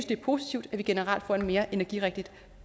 det er positivt at vi generelt får en mere energirigtig